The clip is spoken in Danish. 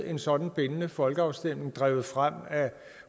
en sådan bindende folkeafstemning drevet frem af